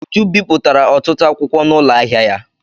Uju bipụtara ọtụtụ akwụkwọ n'ụlọ ahịa ya.